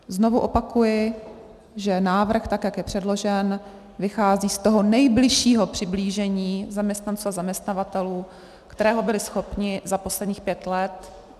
Znovu opakuji, že návrh, tak jak je předložen, vychází z toho nejbližšího přiblížení zaměstnanců a zaměstnavatelů, kterého byli schopni za posledních pět let.